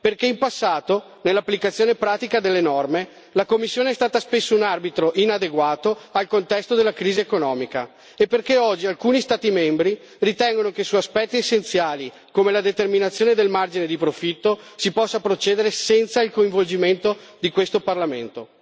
Infatti, in passato, nell'applicazione pratica delle norme, la Commissione è stata spesso un arbitro inadeguato al contesto della crisi economica e oggi alcuni Stati membri ritengono che su aspetti essenziali, come la determinazione del margine di profitto, si possa procedere senza il coinvolgimento di questo Parlamento.